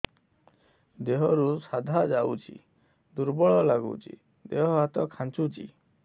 ଦେହରୁ ସାଧା ଯାଉଚି ଦୁର୍ବଳ ଲାଗୁଚି ଦେହ ହାତ ଖାନ୍ଚୁଚି